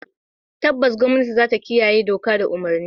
Tabbas gwamnati zata kiyaye doka da umurni.